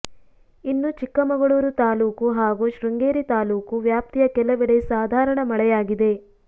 ಇನ್ನು ಚಿಕ್ಕಮಗಳೂರು ತಾಲೂಕು ಹಾಗೂ ಶೃಂಗೇರಿ ತಾಲೂಕು ವ್ಯಾಪ್ತಿಯ ಕೆಲವೆಡೆ ಸಾಧಾರಣ ಮಳೆಯಾಗಿದೆ